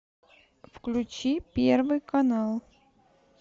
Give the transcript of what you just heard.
включи первый канал